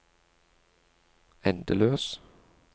endeløs